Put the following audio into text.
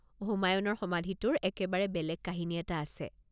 হুমায়ুণৰ সমাধিটোৰ একেবাৰে বেলেগ কাহিনী এটা আছে।